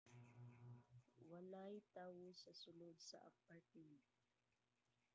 walay tawo sa sulod sa apartment